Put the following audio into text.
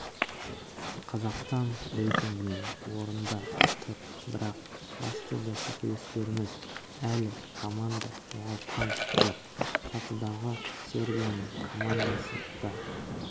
қазақстан рейтингінде орында тұр бірақ басты бәсекелестеріміз әлі команда жоғалтқан жоқ сатыдағы сербияның командасы да